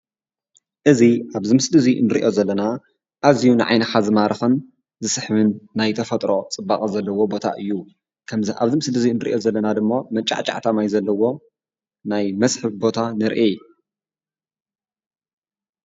እዚ አብዚ ምስሊ እዚ ንሪኦ ዘለና እዝዩ ንዓይንካ ዝማርክን ዝስሕብን ናይ ተፈጥሮ ፅባቀ ዘለዎ ቦታ እዩ። ከምዚ ኣብዚ ምስሊ እንሪኦ ዘለና ድማ መንጫዕጫዕታ ማይ ዘለዎ ናይ መስሕብ ቦታ ንርኢ።